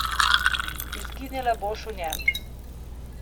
Izginila boš v njem.